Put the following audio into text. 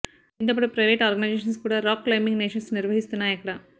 దీంతో పాటు private organisations కూడా రాక్ క్లైంబింగ్ సెషన్స్ నిర్వహిస్తున్నాయిక్కడ